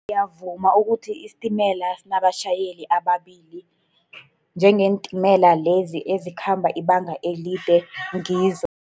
Ngiyavuma ukuthi isitimela sinabatjhayeli ababili, njengeentimela lezi ezikhamba ibanga elide, ngizo